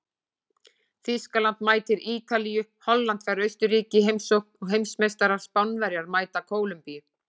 Þýskaland mætir Ítalíu, Holland fær Austurríki í heimsókn og heimsmeistarar Spánverjar mæta Kólumbíu.